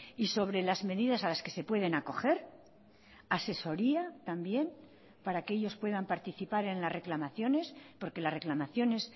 y sobre las medidas a las que se pueden acoger asesoría también para que ellos puedan participar en las reclamaciones porque las reclamaciones